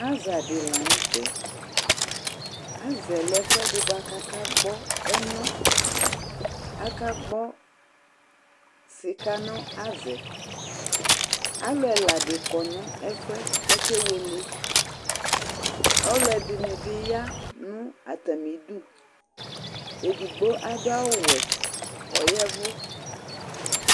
Aza di la n'tɛ, aza lɛ ɛfuɛdi k'aka gbɔ ɛnà, aka gbɔ sika n'aza, alu ɛla di kɔ n'ɛfuɛ k'aka ewele, ɔluɛdini bi ya nu atamidù, edigbo adu awù wɛ k'ɔya ɛvu